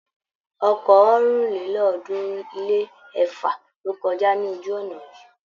Ọkọ̀ ọ̀rìnlélọ́ọ̀ọ́dúnrún-lé-ẹ̀fa ló kọjá ní ojú-ọ̀nà yìí.